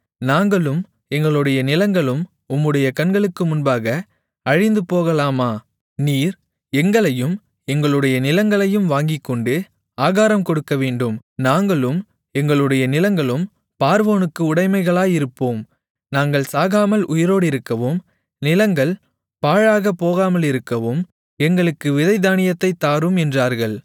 நாங்களும் எங்களுடைய நிலங்களும் உம்முடைய கண்களுக்கு முன்பாக அழிந்து போகலாமா நீர் எங்களையும் எங்களுடைய நிலங்களையும் வாங்கிக்கொண்டு ஆகாரம் கொடுக்கவேண்டும் நாங்களும் எங்களுடைய நிலங்களும் பார்வோனுக்கு உடைமைகளாயிருப்போம் நாங்கள் சாகாமல் உயிரோடிருக்கவும் நிலங்கள் பாழாகப் போகாமலிருக்கவும் எங்களுக்கு விதைத்தானியத்தைத் தாரும் என்றார்கள்